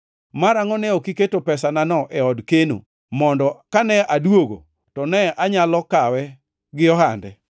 Marangʼo ne ok iketo pesanano e od keno, mondo kane aduogo, to ne anyalo kawe gi ohande.’